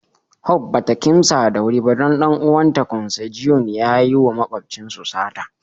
hope ba ta kimsa da wuri ba don ɗan'uwan ta " consanguine" ya yi wa makwapcin su sata.